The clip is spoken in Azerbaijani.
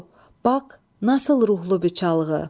Bax, nasıl ruhlu bir çalğı?